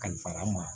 Kalifara ma